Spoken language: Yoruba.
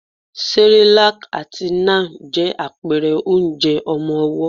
Cerelac àti Nan je àpẹrẹ onjẹ ọmọwọ́.